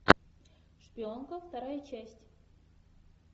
шпионка вторая часть